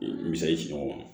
Misali di ɲɔgɔn ma